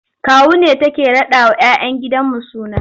Kawu ne take raɗawa 'ya 'yan gidanmu suna.